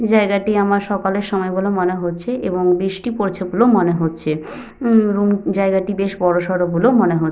জায়গাটি আমার সকালের সময় বলে মনে হচ্ছে এবং বৃষ্টি পড়ছে বলেও মনে হচ্ছে। উম জায়গাটি বেশ বড়সড় বলেও মনে হচ্ছে।